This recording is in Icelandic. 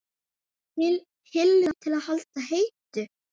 Hillu til að halda heitu?